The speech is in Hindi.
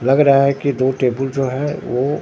लग रहा है कि दो टेबुल जो है वो--